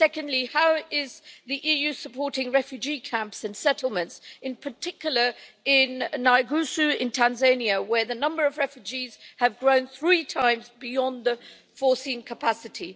Secondly, how is the EU supporting refugee camps and settlements, in particular in Nyarugusu in Tanzania, where the number of refugees has grown three times beyond the intended capacity?